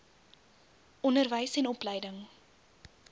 onderwys en opleiding